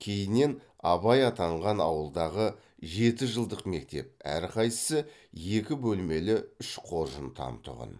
кейіннен абай атанған ауылдағы жетіжылдық мектеп әрқайсысы екі бөлмелі үш қоржын там тұғын